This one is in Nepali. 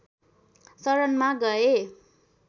शरणमा गए